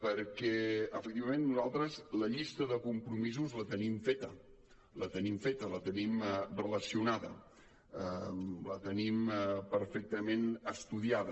perquè efectivament nosaltres la llista de compromisos la tenim feta la tenim relacionada la tenim perfectament estudiada